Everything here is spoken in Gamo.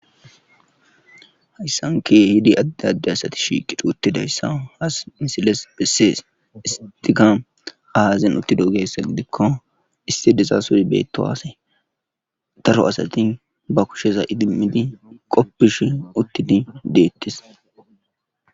hayssanke hidi adde adde asati shiqi dhuutti dayssa haas misiles bessees istika aazin uttido gessa gidikko issi deza suri beetto haase taro asati ba kushesa idimmidi qoppish uttidi deettis